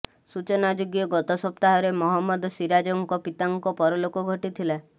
ସୂଚନାଯୋଗ୍ୟ ଗତ ସପ୍ତାହରେ ମହମ୍ମଦ ସିରାଜଙ୍କ ପିତାଙ୍କ ପରଲୋକ ଘଟିଥିଲା